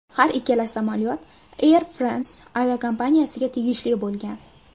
Har ikkala samolyot Air France aviakompaniyasiga tegishli bo‘lgan.